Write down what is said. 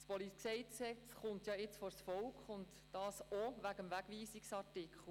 Das PolG kommt jetzt vors Volk, und das auch wegen des Wegweisungsartikels.